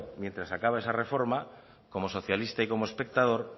mientras acaba esa reforma como socialista y como espectador